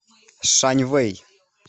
шаньвэй